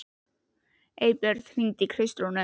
Eybjört, hringdu í Kristrúnu.